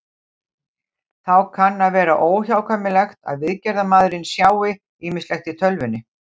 Þá kann að vera óhjákvæmilegt að viðgerðarmaðurinn sjái ýmislegt í tölvunni.